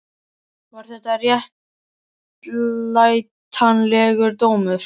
Var þetta réttlætanlegur dómur?